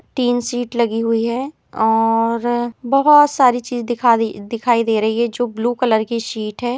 तीन सीट लगी हुई है और बहुत सारी चीज दिखा दिखाई दे रही है जो ब्लू कलर की सीट है।